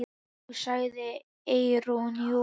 Jú, sagði Eyrún, jú.